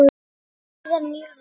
Hvað þýða nýju lögin?